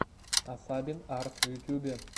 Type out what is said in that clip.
асабин арт в ютюбе